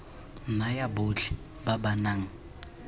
naya botlhe ba ba nang